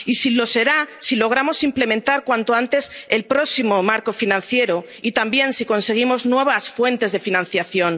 Y lo será si logramos implementar cuanto antes el próximo marco financiero y, también, si conseguimos nuevas fuentes de financiación.